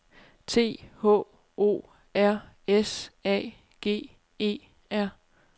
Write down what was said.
T H O R S A G E R